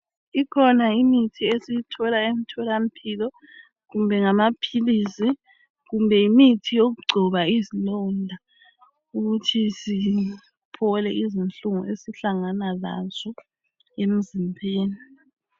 Ikhona imithi esiyithola emtholampilo kumbe ngamaphilisi kumbe yimithi yokugcoba izilonda ukuthi siphole izinhlungu esihlangana lazo emzimbeni.